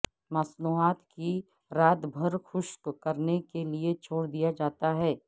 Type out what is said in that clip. مصنوعات کی رات بھر خشک کرنے کے لئے چھوڑ دیا جاتا ہے